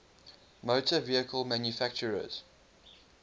motor vehicle manufacturers